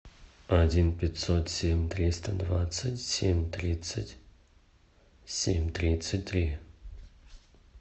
один пятьсот семь триста двадцать семь тридцать семь тридцать три